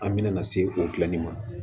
An bɛna se o dilanni ma